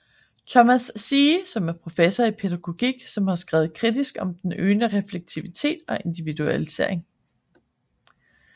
Thomas Ziehe som er professor i pædagogik som har skrevet kritisk om den øgede refleksivitet og individualisering